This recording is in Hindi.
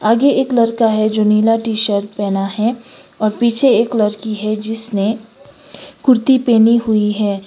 आगे एक लड़का है जो नीला टी शर्ट पहना है और पीछे एक लड़की है जिसने कुर्ती पहनी हुई है।